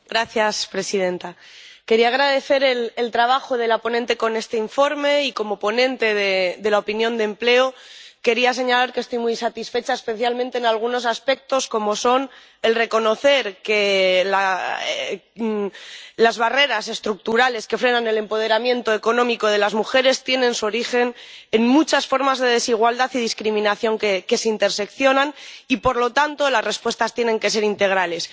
Señora presidenta, quería agradecer el trabajo de la ponente con este informe y, como ponente de opinión de la Comisión de Empleo y Asuntos Sociales, quería señalar que estoy muy satisfecha, especialmente en algunos aspectos, como son el reconocer que las barreras estructurales que frenan el empoderamiento económico de las mujeres tienen su origen en muchas formas de desigualdad y discriminación que se solapan y, por lo tanto, las respuestas tienen que ser integrales.